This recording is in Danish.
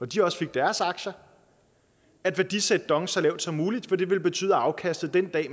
de også fik deres aktier at værdisætte dong så lavt som muligt fordi det ville betyde at afkastet den dag